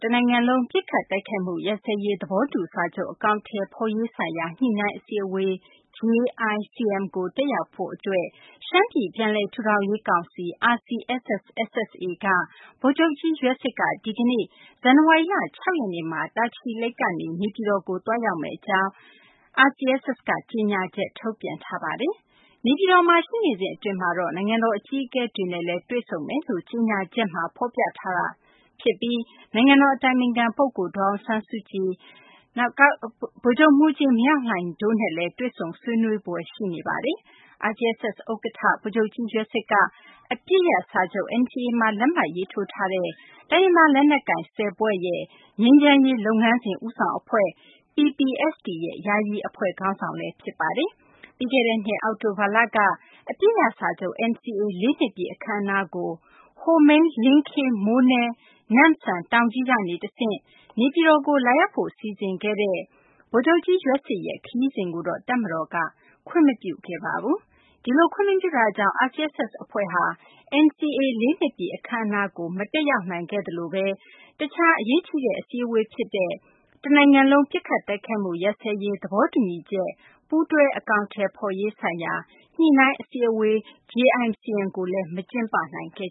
တနိုင်ငံလုံး ပစ်ခတ်တိုက်မှု ရပ်စဲရေး သဘောတူစာချုပ် အကောင်အထည် ဖော်ရေးဆိုင်ရာ ညှိနှိုင်းအစည်းအဝေး JICM ကို တက်ရောက်ဖို့အတွက် ရှမ်းပြည် ပြန်လည်ထူထောင်ရေးကောင်စီ RCSS က ဗိုလ်ချုပ်ကြီးယွက်စစ် ဒီကနေ့ ဇန်နဝါရီလ ၆ ရက်နေ့မှာ တာချီလိတ်ကနေ နေပြည်တော်ကို သွားရောက်မယ့် အကြောင်း ကြေညာချက် ထုတ်ပြန်ပါတယ်။ နေပြည်တော်မှာ ရှိနေစဉ်အတွင်း နိုင်ငံတော်အကြီးအကဲတွေနဲ့လည်း တွေ့ဆုံမယ်လို့ RCSS ရဲ့ ကြေညာချက်မှာ ဖော်ပြထားတာကြောင့် နိုင်ငံတော် အတိုင်ပင်ခံပုဂ္ဂိုလ် ဒေါ်အောင်ဆန်းစုကြည်၊ တပ်မတော် ကာကွယ်ရေးဦးစီးချုပ် ဗိုလ်ချုပ်မှူးကြီး မင်းအောင်လှိုင်တို့နဲ့လည်း တွေ့ဆုံဆွေးနွေးဖွယ် ရှိနေပါတယ်။ RCSS ဥက္ကဋ္ဌ ဗိုလ်ချုပ်ကြီး ယွက်စစ်က အပစ်ရပ်စာချုပ် NCA မှာ လက်မှတ်ထိုးထားတဲ့ တိုင်းရင်းသား လက်နက်ကိုင် ၁၀ ဖွဲ့ရဲ့ ငြိမ်းချမ်းရေး လုပ်ငန်းစဉ် ဦးဆောင်အဖွဲ့ PPST ရဲ့ ယာယီ အဖွဲ့ခေါင်းဆောင်လည်း ဖြစ်ပါတယ်။ ပြီးခဲ့တဲ့နှစ် အောက်တိုဘာလက အပစ်ရပ်စာချုပ် NCA ၄ နှစ်ပြည့် အခမ်းအနားကို ဟိုမိန်း - လင်းခေး - မိုးနဲ - နမ့်စမ် - တောင်ကြီးကတဆင့် နေပြည်တော်ကို လာရောက်ဖို့ စီစဉ်ခဲ့တဲ့ ဗိုလ်ချုပ်ကြီး ယွက်စစ်ရဲ့ ခရီးစဉ်ကို တပ်မတော်က ခွင့်မပြုခဲ့ပါဘူး။ ဒီလို ခွင့်မပြုတာကြောင့် RCSS အဖွဲ့ဟာ NCA ၄ နှစ်ပြည့် အခမ်းအနားကို တက်ရောက်ခြင်း မရှိသလို တခြား အရေးကြီး အစည်းအဝေးဖြစ်တဲ့ တနိုင်ငံလုံး ပစ်ခတ်တိုက်မှု ရပ်စဲရေး သဘောတူညီချက် ပူးတွဲ အကောင်အထည်ဖော်ရေး ဆိုင်ရာ ညှိနှိုင်းအစည်းအဝေး JICM ကိုလည်း ကျင်းပနိုင်ခဲ့